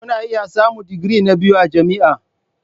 Kuna iya samun digiri na biyu a jami'a.